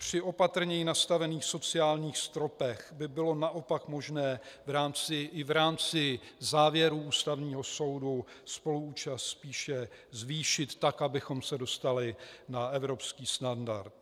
Při opatrněji nastavených sociálních stropech by bylo naopak možné i v rámci závěrů Ústavního soudu spoluúčast spíše zvýšit tak, abychom se dostali na evropský standard.